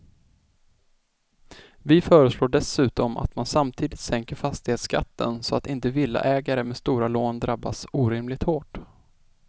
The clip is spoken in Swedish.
Vi föreslår dessutom att man samtidigt sänker fastighetsskatten så att inte villaägare med stora lån drabbas orimligt hårt.